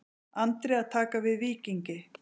Andri að taka við Víkingi